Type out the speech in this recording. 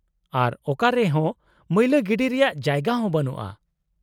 -ᱟᱨ ᱚᱠᱟᱨᱮ ᱦᱚᱸ ᱢᱟᱹᱭᱞᱟᱹ ᱜᱤᱰᱤ ᱨᱮᱭᱟᱜ ᱡᱟᱭᱜᱟ ᱦᱚᱸ ᱵᱟᱱᱩᱜᱼᱟ ᱾